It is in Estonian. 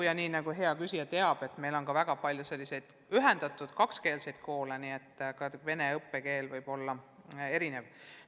Ja nii nagu hea küsija teab, on meil väga palju ühendatud kakskeelseid koole, nii et ka venekeelne õpe võib olla erinev.